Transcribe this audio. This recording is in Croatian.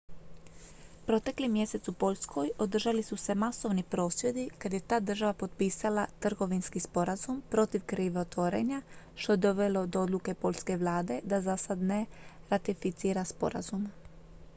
protekli mjesec u poljskoj održali su se masovni prosvjedi kad je ta država potpisala trgovinski sporazum protiv krivotvorenja što je dovelo do odluke poljske vlade da zasad ne ratificira sporazum